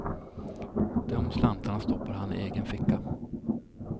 De slantarna stoppade han i egen ficka.